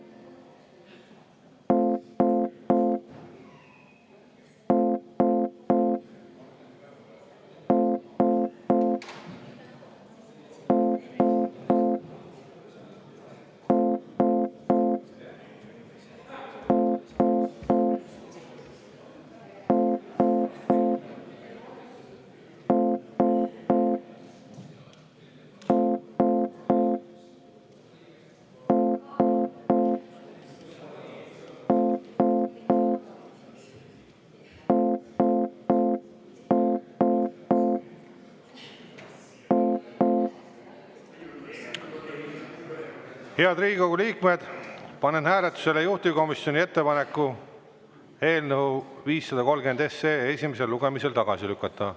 Head Riigikogu liikmed, panen hääletusele juhtivkomisjoni ettepaneku eelnõu 530 esimesel lugemisel tagasi lükata.